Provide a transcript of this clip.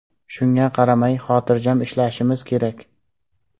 Shunga qaramay, xotirjam ishlashimiz kerak.